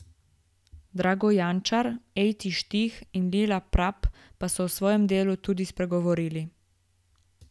Drago Jančar, Ejti Štih in Lila Prap pa so o svojem delu tudi spregovorili.